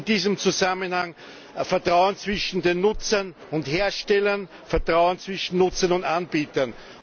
In diesem Zusammenhang Vertrauen zwischen den Nutzern und Herstellern, Vertrauen zwischen Nutzern und Anbietern.